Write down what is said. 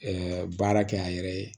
baara kɛ a yɛrɛ ye